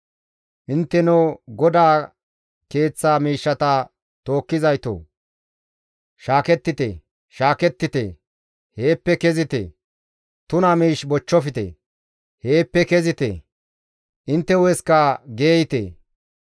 Intteno GODAA keeththa miishshata tookkizaytoo! Shaakettite, shaakettite; heeppe kezite. Tuna miish bochchofte; heeppe kezite; intte hu7esikka geeyte.